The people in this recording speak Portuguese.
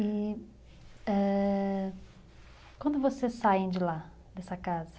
E... ãh... Quando vocês saem de lá, dessa casa?